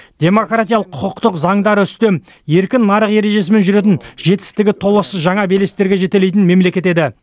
демократиялық құқықтық заңдары үстем еркін нарық ережесімен жүретін жетістігі толассыз жаңа белестерге жетелейтін мемлекет еді